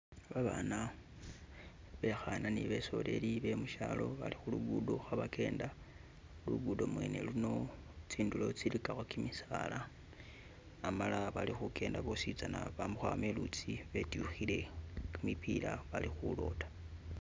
Babaana bekhana ni besoleli bemushalo bali khulugudo khebagenda lugudo mwene luno tsindulo tsiligakho gimisaala amala bali kugenda bwositsana bama khwam iluutsi betyukhile gimipila balikhuloda.